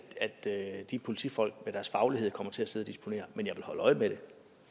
de politifolk med al deres faglighed kommer til at sidde og disponere men jeg vil holde øje med det